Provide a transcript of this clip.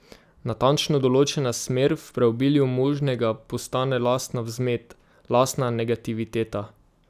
Natančno določena smer v preobilju možnega postane lastna vzmet, lastna negativiteta.